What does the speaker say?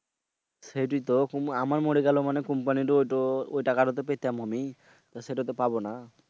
সেইটাই তো আমার মরে গেলেও company এর ঐটাকা তো পেতাম আমি সেটা তো পাবোনা।